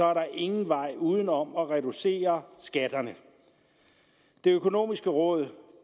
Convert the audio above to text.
er der ingen vej uden om at reducere skatterne det økonomiske råd